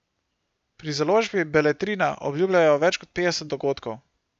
Pri založbi Beletrina obljubljajo več kot petdeset dogodkov.